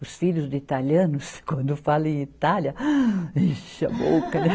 Os filhos de italianos, quando falam em Itália... enche a boca, né?